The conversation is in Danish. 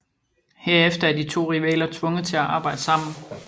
Herefter er de to rivaler tvunget til at arbejde sammen